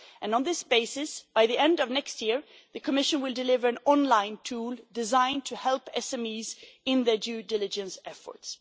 On this basis, by the end of next year the Commission will deliver an online tool designed to help SMEs in their due diligence efforts.